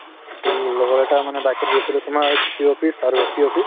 to লগৰ এটাৰ মানে bike ত গৈছিলো তোমাৰ DC office আৰু SP office